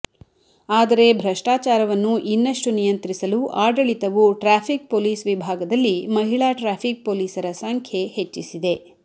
ಆದರೆ ಭ್ರಷ್ಟಾಚಾರವನ್ನು ಇನ್ನಷ್ಟು ನಿಯಂತ್ರಿಸಲು ಆಡಳಿತವು ಟ್ರಾಫಿಕ್ ಪೊಲೀಸ್ ವಿಭಾಗದಲ್ಲಿ ಮಹಿಳಾ ಟ್ರಾಫಿಕ್ ಪೊಲೀಸರ ಸಂಖ್ಯೆ ಹೆಚ್ಚಿಸಿದೆ